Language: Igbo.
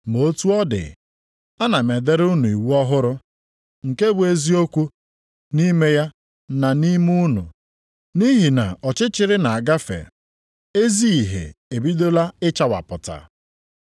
Ma otu ọ dị, ana m edere unu iwu ọhụrụ, nke bụ eziokwu nʼime ya na nʼime unu. Nʼihi na ọchịchịrị na-agafe, ezi ìhè ebidola ịchawapụta.